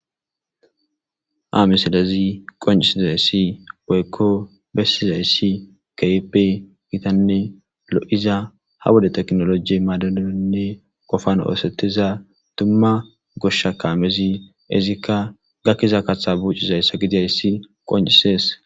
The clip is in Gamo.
Amesidezi qoncisizayssi boykko bessizayssi kaype gitanne lo7iza ha wode teknoloji maadanonne qofan oosettiza tumma goshshakaamezi izikka gakkiza kaththa buucizayssa gidiyayssi qoncisees.